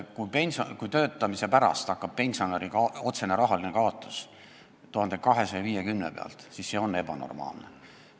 Kui töötava pensionäri otsene rahaline kaotus algab 1250 euro pealt, siis see on ebanormaalne.